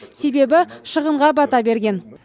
себебі шығынға бата берген